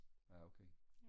ja okay